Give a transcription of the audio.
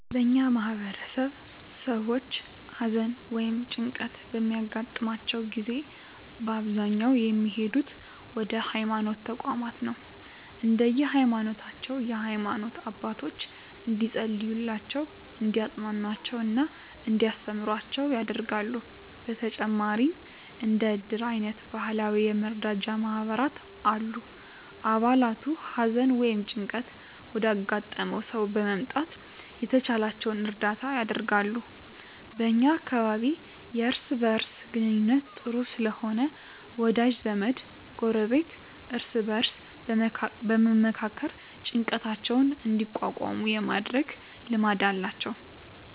በእኛ ማህበረሰብ ሰዎች ሀዘን ወ ይም ጭንቀት በሚያገጥማቸው ጊዜ በአብዛኛው የሚሄዱት ወደ ሀይማኖት ተቋማት ነው። እንደየ ሀይማኖታቸው የሃይማኖት አባቶች እንዲፀልዩላቸው፣ እንዲያፅናኑአቸው እና እንዲያስተምሩአቸው ያደርጋሉ። በተጨማሪም እንደ እድር አይነት ባህላዊ የመረዳጃ ማህበራት አሉ። አባላቱ ሀዘን ወይም ጭንቀት ወዳጋጠመው ሰው በመምጣት የተቻላቸውን እርዳታ ያደርጋሉ። በ እኛ አካባቢ የእርስ በእርስ ግንኙነቱ ጥሩ ስለሆነ ወዳጅ ዘመድ፣ ጎረቤት እርስ በእርስ በመመካከር ጭንቀታቸውን እንዲቋቋሙ የማድረግ ልማድ አላቸው።